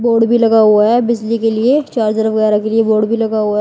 Board भी लगा हुआ है बिजली के लिए चार्जर वगैरा के लिए बोर्ड भी लगा हुआ है।